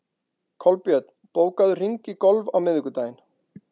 Kolbjörn, bókaðu hring í golf á miðvikudaginn.